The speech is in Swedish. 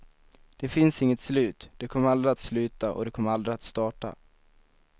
Det finns inget slut, det kommer aldrig att sluta och det kommer aldrig att starta.